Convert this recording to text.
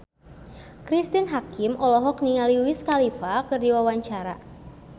Cristine Hakim olohok ningali Wiz Khalifa keur diwawancara